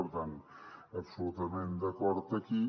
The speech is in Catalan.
per tant absolutament d’acord aquí